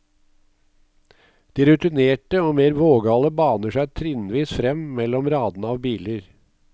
De rutinerte og mer vågale baner seg trinnvis frem mellom radene av biler.